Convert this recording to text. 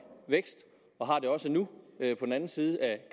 vækst og har det også nu på den anden side af